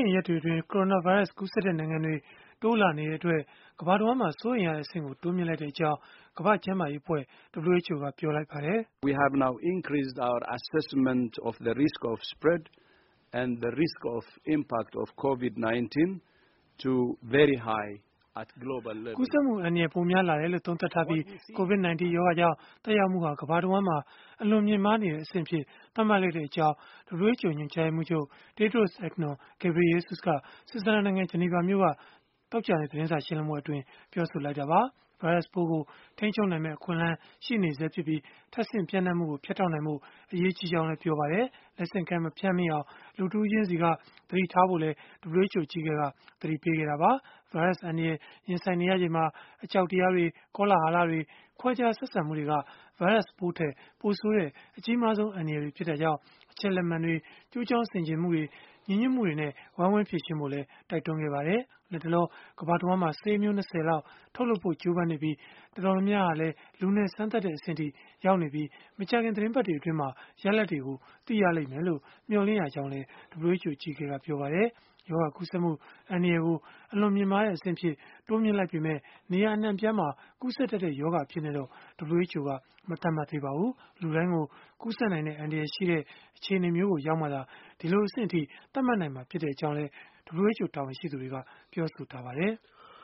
င်ရက်တွေအတွင်း ကိုရိုနာဗိုင်းရပ်စ် ကူးစက်တဲ့ နိုင်ငံတွေ တိုးလာနေတာဟာ စိုးရိမ်စရာ ကောင်းတာကြောင့် ကမ္ဘာတဝှမ်းမှာ စိုးရိမ်ရတဲ့အဆင့်ကို တိုးမြှင့်လိုက်ကြောင်း ကမ္ဘာ့ကျန်းမာရေးအဖွဲ့ (WHO) ကပြောလိုက်ပါတယ်။ ကူးစက်မှု အန္တရာယ် ပိုများလာတယ်လို့ သုံးသပ်ထားပြီး၊ COVID-19 ရောဂါကြောင့် သက်ရောက်မှုဟာ ကမ္ဘာတဝှမ်းမှာ အလွန်မြင့်မားနေတဲ့ အဆင့်အဖြစ် သတ်မှတ်လိုက်ကြောင်း WHO ညွန်ကြားရေးမှူးချုပ် Tedros Adhanom Ghebreyesus က ဆွစ်ဇာလန်နိုင်ငံ ဂျနီဗာမြို့က သောကြာနေ့ သတင်းစာရှင်းလင်းပွဲမှာ ပြောဆိုသွားတာပါ။ ဗိုင်းရပ်စ်ပိုးကို ထိန်းချုပ်နိုင်မယ့် အခွင့်အလန်း ရှိနေဆဲဖြစ်ပြီး ထပ်ဆင့် ပျံ့နှံ့မှုကို ဖြတ်တောက်နိုင်ဖို့ အရေးကြီးကြောင်းလည်း ပြောပါတယ်။ လက်ဆင့်ကမ်း မဖြန့်မိအောင် လူတဦးချင်းစီက သတိထားဖို့လည်း WHO အကြီးအကဲက သတိပေးခဲ့တာပါ။ ဗိုင်းရပ်စ်အန္တရာယ် ရင်ဆိုင်နေရချိန်မှာ အကြောက်တရားတွေ၊ ကောလဟလတွေ၊ ခွဲခြားဆက်ဆံမှုတွေက ဗိုင်းရပ်စ်ပိုးထက် ပိုဆိုးတဲ့ အကြီးမားဆုံး အန္တရာယ်တွေ ဖြစ်တာကြောင့် အချက်အလက်မှန်တွေ၊ ကျိုးကြောင်းဆင်ခြင်မှုတွေ၊ ညီညွတ်မှုတွေနဲ့ ဝိုင်းဝန်းဖြေရှင်းကြဖို့လည်း တိုက်တွန်းခဲ့ပါတယ်။ လတ်တလော ကမ္ဘာတဝှမ်းမှာ ဆေးအမျိုး ၂၀ လောက် ထုတ်လုပ်ဖို့ ကြိုးပမ်းနေပြီး၊ တော်တော်များများဟာလည်း လူနဲ့စမ်းသပ်တဲ့ အဆင့်အထိ ရောက်နေပြီး မကြာခင် သီတင်းပတ်တွေအတွင်း ရလဒ်တွေကို သိရလိမ့်မယ်လို့ မျှော်လင့်ရကြောင်းလည်း WHO အကြီးအကဲက ပြောပါတယ်။ ရောဂါကူးစက်မှု အန္တရာယ်ကို အလွန်မြင့်မားတဲ့ အဆင့်အဖြစ် တိုးမြှင့်လိုက်ပေမဲ့ နေရာအနှံ့အပြားမှာ ကူးစက်တတ်တဲ့ ရောဂါအဖြစ်နဲ့တော့ WHO က မသတ်မှတ်သေးပါဘူး။ လူတိုင်းကို ကူးစက်နိုင်တဲ့ အန္တရာယ်ရှိတဲ့ အခြေအနေကို ရောက်မှာသာ ဒီလိုအဆင့်အထိ သတ်မှတ်နိုင်မှာ ဖြစ်ကြောင်းလည်း WHO တာဝန်ရှိသူတွေက ပြောဆိုထားပါတယ်။